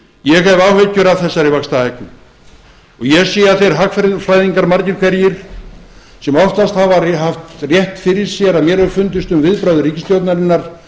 ég hef áhyggjur af þessari vaxtahækkun og ég sé að þeir hagfræðingar margir hverjir sem oftast hafa haft rétt fyrir sér að mér hefur fundist um viðbrögð ríkisstjórnarinnar